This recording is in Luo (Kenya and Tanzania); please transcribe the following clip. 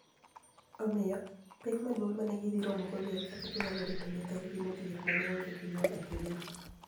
Omiyo, pek maduonig ' ma ni e gidhi romogo ni e eni kaka ni e giniyalo rito niyithinidgi modhier ma ni e onige joniyuol e piny no.